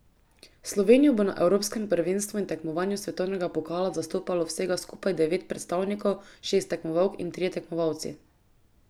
Slovenijo bo na evropskem prvenstvu in tekmovanju svetovnega pokala zastopalo vsega skupaj devet predstavnikov, šest tekmovalk in trije tekmovalci.